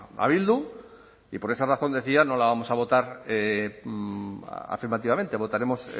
a bildu y por esa razón decía no la vamos a votar afirmativamente votaremos